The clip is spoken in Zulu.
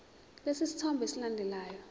lesi sithombe esilandelayo